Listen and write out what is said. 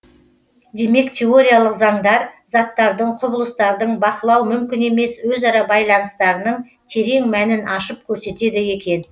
демек теориялық заңдар заттардың құбылыстардың бақылау мүмкін емес өзара байланыстарының терең мәнін ашып көрсетеді екен